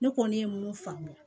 Ne kɔni ye mun faamu